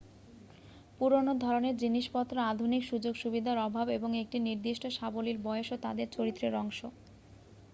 পুরানো ধরণের জিনিসপত্র আধুনিক সুযোগ সুবিধার অভাব এবং একটি নির্দিষ্ট সাবলীল বয়সও তাদের চরিত্রের অংশ